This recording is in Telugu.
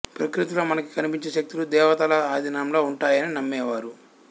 ప్రకృతిలో మనకి కనిపించే శక్తులు దేవతల ఆధీనంలో ఉంటాయని నమ్మేవారు